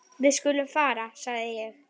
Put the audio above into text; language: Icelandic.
Við skulum fara sagði ég.